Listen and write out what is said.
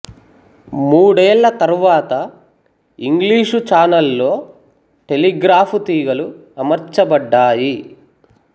మూడేళ్ళ తరువాత English channel లో టెలిగ్రాఫ్ తీగలు అమర్చ బడ్డాయి